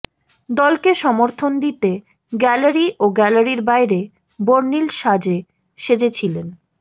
দলকে সমর্থন দিতে গ্যালারি ও গ্যালারির বাইরে বর্ণিল সাজে সেজেছিলেন